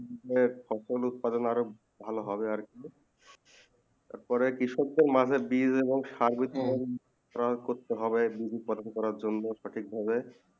দেশে ফসল উৎপাদন আরও ভালো হবে তার পরে ক্রিসকে মাঠে বীজ এবং সর্বোধেক করতে হবে বিধি বিধি প্রজন করা প্রাকৃতিক ভাবে